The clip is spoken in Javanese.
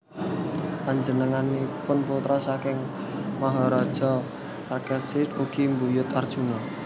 Panjenenganipun putra saking Maharaja Parikesit ugi buyut Arjuna